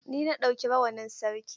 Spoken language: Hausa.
Ni na ɗauki rawanin Sarki.